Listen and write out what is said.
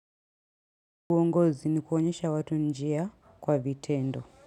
Uongozi ni kuonyesha watu njia kwa vitendo.